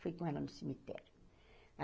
Fui com ela no cemitério.